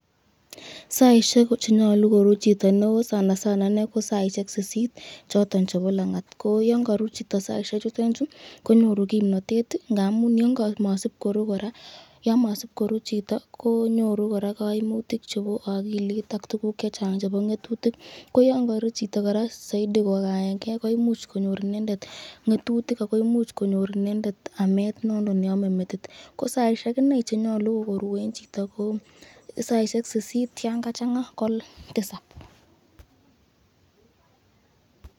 Saisyek chenyolu koruu chito neo sanasana inei kosaisyek sisit choton chebo langat , ko yan karuu chito saisye chutenchu konyoru kimnatet , yan masib keruu koraa yan masib koruu chito konyoru koraa kaimutik chebo akilit ak tukuk chechang chebo ngetutik ko yan karuu chito koraa zaidi koimuch konyor inendet ngetutik, ako imuch konyor koraa ametab metit kosaisyek inei chenyalu koruu chito ko saisyek sisit ko yan kachanga ko sokol.